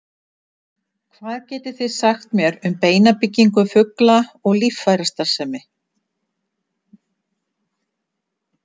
hvað getið þið sagt mér um beinabyggingu fugla og líffærastarfsemi